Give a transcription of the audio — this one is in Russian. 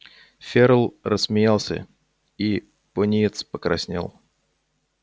ферл рассмеялся и пониетс покраснел